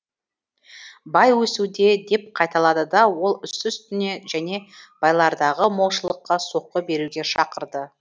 бай өсуде деп қайталады ол үсті үстіне және байлардағы молшылыққа соққы беруге шақырды